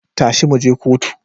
Tashi mu je kotu